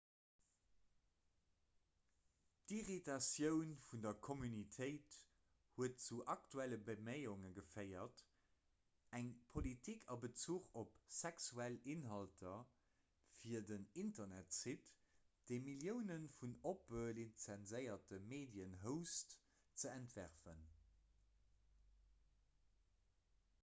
d'irritatioun vun der communautéit huet zu aktuelle beméiunge geféiert eng politik a bezuch op sexuell inhalter fir den internetsite dee millioune vun oppe lizenséierte medien host ze entwerfen